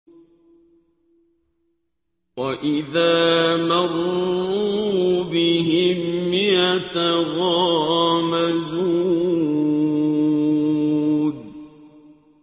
وَإِذَا مَرُّوا بِهِمْ يَتَغَامَزُونَ